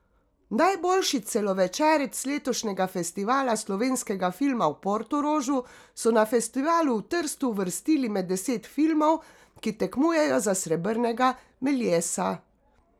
Najboljši celovečerec letošnjega Festivala slovenskega filma v Portorožu so na festivalu v Trstu uvrstili med deset filmov, ki tekmujejo za srebrnega meliesa.